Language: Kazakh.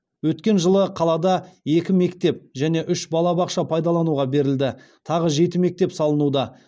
өткен жылы қалада екі мектеп және үш балабақша пайдалануға берілді тағы жеті мектеп салынуда